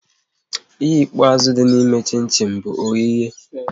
Ihe ikpeazụ dị na eme chin chin bụ oyighe